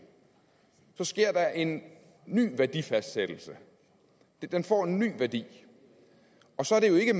sker der en ny værdifastsættelse den får en ny værdi og så er det jo ikke